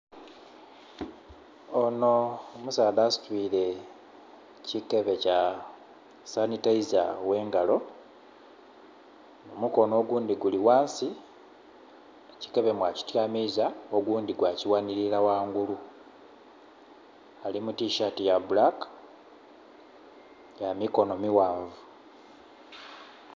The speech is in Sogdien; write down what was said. Onho omusaadha asitwire kikebe kya sanitaiza gh'engalo. Omukono ogundhi guli ghansi, ekikebe mwakityamiiza, ogundhi gwakighanhilila ghangulu. Ali mu tishaati ya bbulaka ya mikono mighanvu.